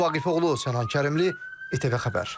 Gündüz Vaqifoğlu, Sənan Kərimli, ATV Xəbər.